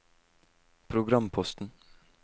programposten